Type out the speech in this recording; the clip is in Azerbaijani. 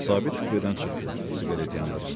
Sabit kupedən çıxdı, siqaret yandırdı.